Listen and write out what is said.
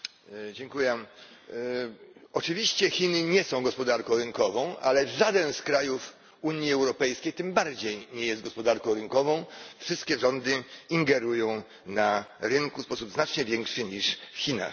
Panie Przewodniczący! Oczywiście Chiny nie są gospodarką rynkową, ale żaden z krajów Unii Europejskiej tym bardziej nie jest gospodarką rynkową wszystkie rządy ingerują na rynku w sposób znacznie większy niż w Chinach.